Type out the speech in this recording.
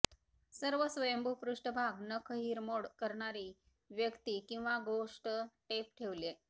सर्व स्वयंभू पृष्ठभाग नख हिरमोड करणारी व्यक्ती किंवा गोष्ट टेप ठेवले